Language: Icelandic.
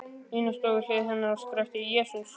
Nína stóð við hlið hennar og skrækti: Jesús!